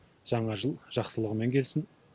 жаңа жыл жақсылығымен келсін